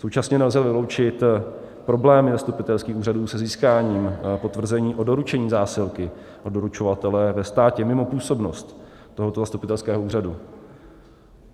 Současně nelze vyloučit problémy zastupitelských úřadů se získáním potvrzení o doručení zásilky od doručovatele ve státě mimo působnost tohoto zastupitelského úřadu.